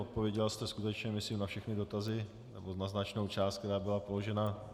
Odpověděla jste skutečně myslím na všechny dotazy, nebo na značnou část, která byla položena.